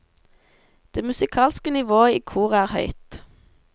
Det musikalske nivået i koret er høyt.